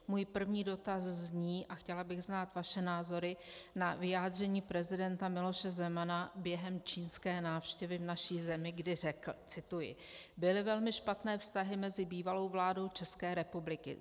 Můj první dotaz zní - a chtěla bych znát vaše názory na vyjádření prezidenta Miloše Zemana během čínské návštěvy v naší zemi, kdy řekl - cituji: "Byly velmi špatné vztahy mezi bývalou vládou České republiky.